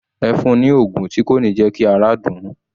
Ẹ fun ni oògùn tí kò ní jẹ́ kí ara dùn ún